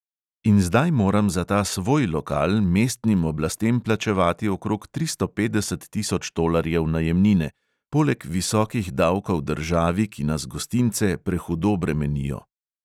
In zdaj moram za ta "svoj" lokal mestnim oblastem plačevati okrog tristo petdeset tisoč tolarjev najemnine – poleg visokih davkov državi, ki nas gostince prehudo bremenijo.